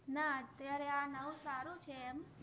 ના અત્ય઼આરે આ નવુ સારુ છે એમ